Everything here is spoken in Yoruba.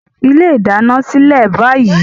Fi ilé ìdáná sílẹ̀ báyìí!